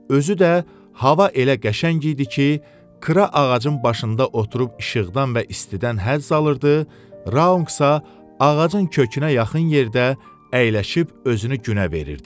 Özü də hava elə qəşəng idi ki, Kra ağacın başında oturub işıqdan və istidən həzz alırdı, Raunqsa ağacın kökünə yaxın yerdə əyləşib özünü günə verirdi.